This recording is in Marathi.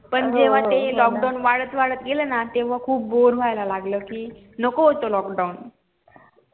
पण जेव्हा ते lockdown वाढत वाढत गेलं ना तेव्हा खूप bore होयला लागला कि नको होत lockdown